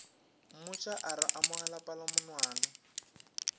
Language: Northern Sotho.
mmotša a re amogela palamonwana